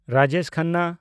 Rajesh Khanna